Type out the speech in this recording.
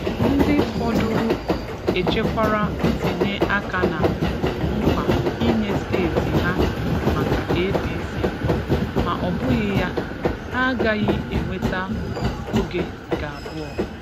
Ndị fọdụrụ echekwara ntinye aka na nkwa inye steeti ha maka APC, ma ọ bụghị ya, ha agaghị enweta oge nke abụọ.